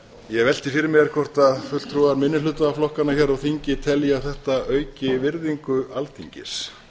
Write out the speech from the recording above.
ég velti fyrir mér hvort fulltrúar minnihlutaflokkanna hér á þingi telji að þetta auki virðingu alþingis